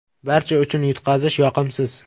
Barcha uchun yutqazish yoqimsiz.